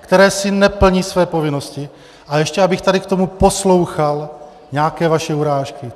které si neplní své povinnosti, a ještě abych tady k tomu poslouchal nějaké vaše urážky.